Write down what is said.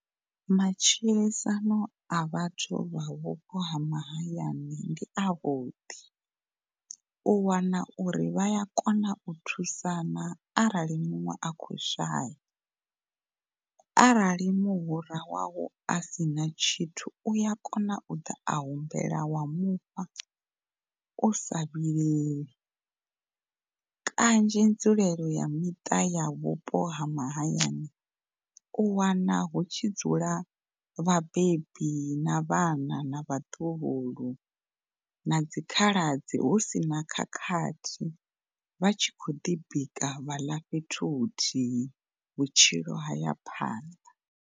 Matshilisano a vhathu vha vhupo ha mahayani ndi a vhuḓi, u wana uri vhaya kona u thusana arali muṅwe a khou shaya. Arali muhura wawu asina tshithu uya kona u ḓa a humbela wa mufha usa vhileli, kanzhi nzulele ya miṱa ya vhupo ha mahayani u wana hu tshidzula vhabebi na vhana na vhaḓuhulu na dzi khaladzi hu sina khakhathi vha tshi khou ḓi bika vha ḽa fhethu huthihi vhutshilo haya phanḓa.